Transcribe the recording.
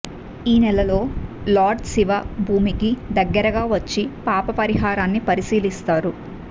ఈ నెలలో లార్డ్ శివ భూమికి దగ్గరగా వచ్చి పాపపరిహారాన్ని పరిశీలిస్తారు